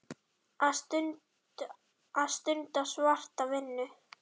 Að stunda svarta vinnu.